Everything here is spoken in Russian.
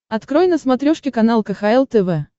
открой на смотрешке канал кхл тв